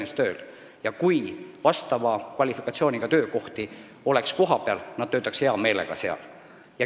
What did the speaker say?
Kui kohapeal oleks vastava kvalifikatsiooniga töökohti, siis nad töötaksid hea meelega Saaremaal.